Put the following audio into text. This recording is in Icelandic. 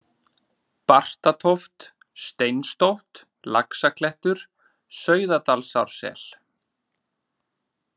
Bartatóft, Steinstótt, Laxaklettur, Sauðadalsársel